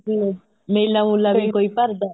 ਮਤਲਬ ਮੇਲਾ ਮੁਲਾ ਵੀ ਕੋਈ ਭਰਦਾ